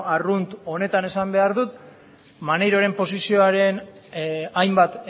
arrunt honetan esan behar dut maneiroren posizioaren hainbat